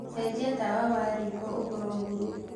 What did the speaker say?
cenjĩa tawa wa rĩko ũkorwo burũũ